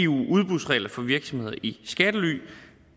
udbudsregler for virksomheder i skattely